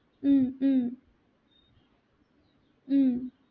উম উম উম